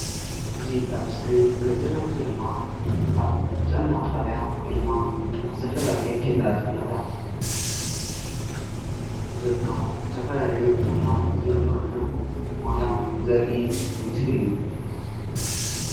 እዚ ኣብ እስክሪን ንሪኦ ዘለና ምስሊ ድማ ኣብ ጥዕና ጣብያ ወይ ድማ ኣብ ዝተፈላለየ ኬላታት ጥዕናታት ዝርከቡ ዝተፈላለዩ ሕሙማን ዝምርመርሉ ቦታ ዘርኢ ምስሊ እዩ፡፡